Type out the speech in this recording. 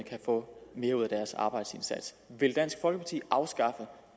få mere ud af deres arbejdsindsats vil dansk folkeparti afskaffe